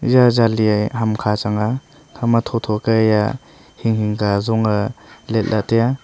eya jali hamkha chang a ekhama thotho ka haiya hinghing ka zonge liet lah e taiya.